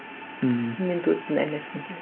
ммм кіммен дуэтпен ән айтқың келеді